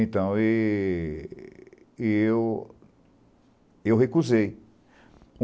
Então, eu eu eu recusei.